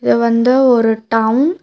இது வந்து ஒரு டவுன் .